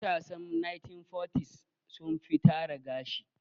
Matasan 1940s sun fi tara gashi.